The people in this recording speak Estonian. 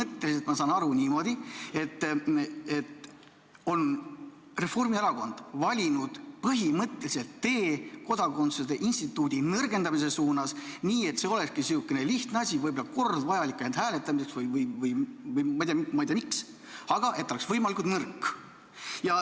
Ehk siis ma saan aru niimoodi, et Reformierakond on valinud põhimõtteliselt tee kodakondsuse instituudi nõrgendamise suunas, nii et see olekski selline lihtne asi, võib-olla kord vajalik ainult hääletamiseks või ma ei tea miks, aga et ta oleks võimalikult nõrk.